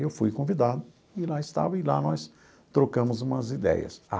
Eu fui convidado, e lá estava, e lá nós trocamos umas ideias.